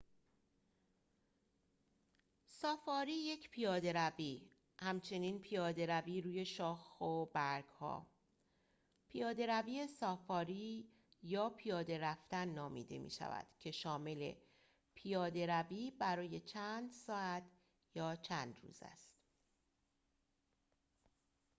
سافاری یک پیاده‌روی همچنین «پیاده‌روی روی شاخ و برگ‌ها» ، «پیاده‌روی سافاری» یا «پیاده رفتن» نامیده می‌شود که شامل پیاده‌روی برای چند ساعت یا چند روز است